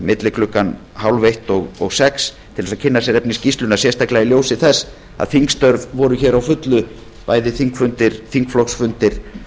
milli klukkan hálfeitt og sex mundi ekki duga til að kynna sér efni skýrslunnar sérstaklega í ljósi þess að þingstörf voru hér á fullu bæði þingfundir þingflokksfundir